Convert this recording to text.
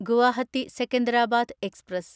Guwahati Secunderabad express